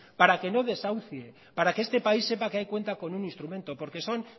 para que no desahucie para que este país sepa que ahí cuenta con un instrumento porque son